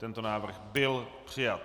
Tento návrh byl přijat.